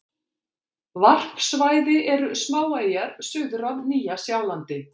Varpsvæði eru smáeyjar suður af Nýja-Sjálandi.